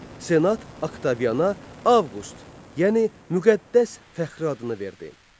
Senat Oktaviana Avqust, yəni müqəddəs fəxri adını verdi.